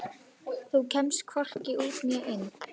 Þú kemst hvorki út né inn.